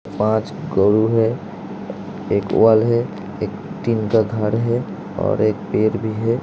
पांच काऊ है एक वाल है एक टिन का घर है और एक पेड़ भी है।